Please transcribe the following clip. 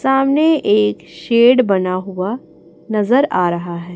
सामने एक शेड बना हुआ नजर आ रहा है।